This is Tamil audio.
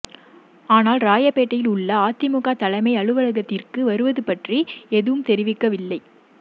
ஆனால் ராயப்பேட்டையில் உள்ள அதிமுக தலைமை அலுவலகத்திற்கு வருவது பற்றி எதுவும் தெரிவிக்கவில்லை